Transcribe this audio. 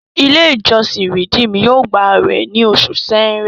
ilé ìjósìn redeem yóò gbà awẹ ní Oṣù Ṣẹ̀rẹ́.